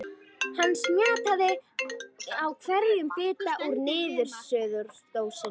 Hann smjattaði á hverjum bita úr niðursuðudósinni.